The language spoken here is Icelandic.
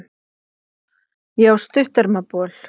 Ég á stuttermabol.